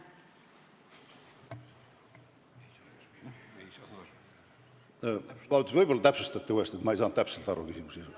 Vabandust, võib-olla täpsustate, ma ei saanud täpselt aru küsimuse sisust.